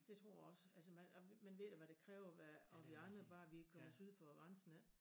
Det tror jeg også altså man og men ved du hvad det kræver at og vi andre bare vi kommer syd for grænsen ik